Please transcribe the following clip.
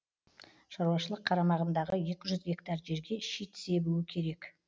шаруашылық қарамағындағы екі жүз гектар жерге шит себуі керек